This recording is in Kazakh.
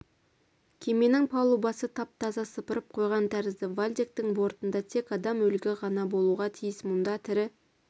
кеменің палубасы тап-таза сыпырып қойған тәрізді вальдектің бортында тек адам өлігі ғана болуға тиіс мұнда тірі